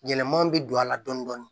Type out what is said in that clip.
Yɛlɛmaw bɛ don a la dɔni dɔni